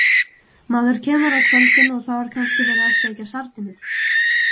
Maður kemur á kvöldin og þá er kannski verið að steikja sardínur.